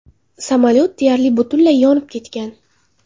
Samolyot deyarli butunlay yonib ketgan.